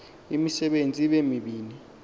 imisebenzi ibe mibini